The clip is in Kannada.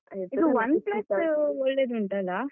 ಇದು OnePlus ಒಳ್ಳೆದುಂಟಲ್ಲ?